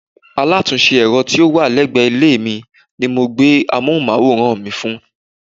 Alátúnse èro tí ó wà légbè ilé mi ni mo gbé amóhúnmáwòrán mi fún